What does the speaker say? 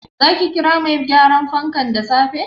Zaki kira mai gyaran fankan da safe?